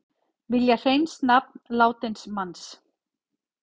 Vilja hreins nafn látins manns